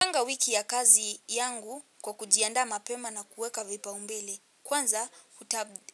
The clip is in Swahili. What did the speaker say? Huwanga wiki ya kazi yangu kwa kujianda mapema na kuweka vipao mbele. Kwanza